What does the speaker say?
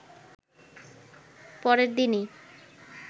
পরের দিনই